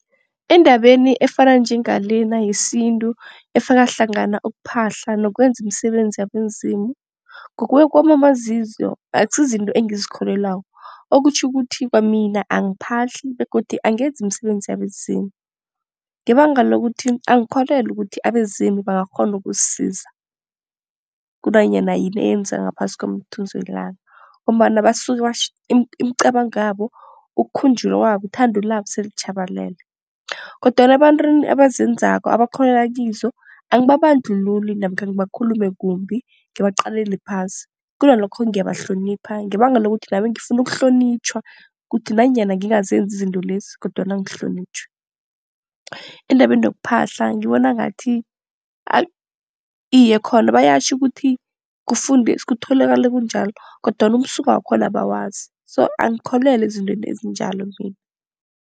Endabeni efana njengalena yesintu, efaka hlangana ukuphahla nokwenza imisebenzi yabezimu. Ngokuya kwami amazizo akusi zizinto engizikholelwako. Okutjho ukuthi kwamina angiphahli begodu angenzi imisebenzi yabezimu ngebanga lokuthi angikholelwa ukuthi abezimu bangakghona ukusisiza kunanyana yini eyenzeka ngaphasi komthunzi welanga. Ngombana basuke imicabango yabo, ukukhunjulwa kwabo, ithando labo sele litjhabalele kodwana ebantwini abazenzako, abakholelwa kizo angibabandlululi namkha ngibakhulume kumbi, ngibaqalele phasi. Kunalokho ngiyabahlonipha ngebanga lokuthi nami ngifuna ukuhlonitjhwa ukuthi nanyana ngingazenzi izinto lezi kodwana ngihlonitjhwe. Endabeni yokuphahla ngibona ngathi iye, khona bayatjho ukuthi kutholakale kunjalo kodwana umsuka wakhona abawazi, so angikholelwa ezintweni ezinjalo mina